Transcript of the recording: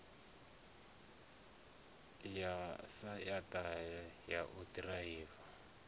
ya ḽaisentsi ya u ḓiraiva